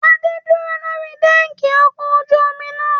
Adé dúró lórí dẹ́ẹ̀kì ọkọ ojú omi náà.